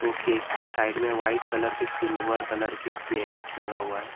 वो केक के साइड मे व्हाइट कलर के सिल्वर कलर के पेंट लगा हुआ हे।